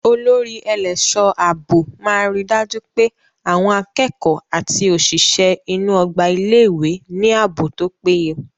Olórí ẹlẹ́ṣọ̀ ààbò máa ríi dájú pé àwọn akẹ́kọ̀ọ́ àti òṣìṣẹ́ inú ọgbà ilé ìwé ní ààbò tó péye.